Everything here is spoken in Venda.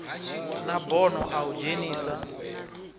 na bono a u dzhenisa